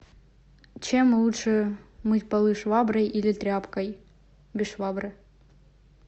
чем лучше мыть полы шваброй или тряпкой без швабры